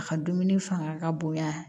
A ka dumuni fanga ka bonya